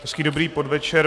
Hezký dobrý podvečer.